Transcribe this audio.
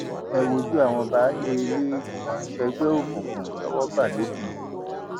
ẹ wojú àwọn baálé ilé tí wọn ń ṣègbè òkùnkùn tọwọ bá lọgun